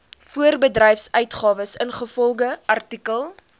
voorbedryfsuitgawes ingevolge artikel